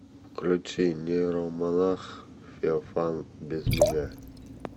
включи нейромонах феофан без меня